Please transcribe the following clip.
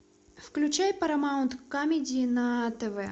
включай парамаунт камеди на тв